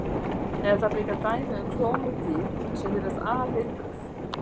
En það eru líka dæmi um klónuð dýr sem virðast alheilbrigð.